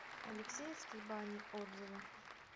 алексеевские бани отзывы